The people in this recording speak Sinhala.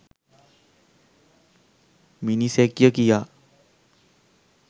මිනිසෙක්ය කියා.